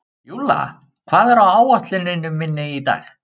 Júlla, hvað er á áætluninni minni í dag?